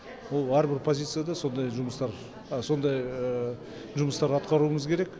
ол әрбір позицияда сондай жұмыстар сондай жұмыстар атқаруымыз керек